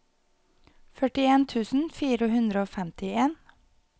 førtien tusen fire hundre og femtien